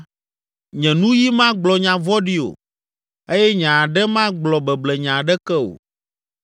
nye nuyi magblɔ nya vɔ̃ɖi o eye nye aɖe magblɔ beblenya aɖeke o.